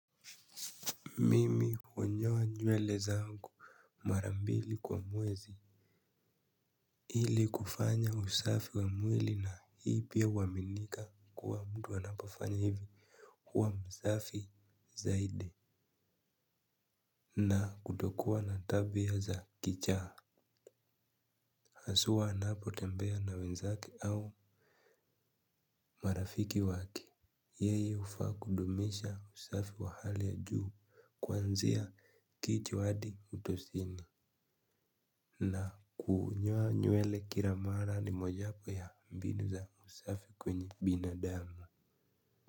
Mimi hunyoa nywele zangumara mbili kwa mwezi ili kufanya usafi wa mwili na hii pia huaminika kuwa mtu anaofanya hivi huwa msafi zaidi. Na kutokua na tabia za kichaa hasw anapotembea na wenzake au marafiki wake, yeye hufaa kudumisha usafi wa hali ya juu kuanzia kichwa adi utosini. Na kunyoa nywele kila mara ni mojawapo ya mbinu za usafi kwenye binadamu.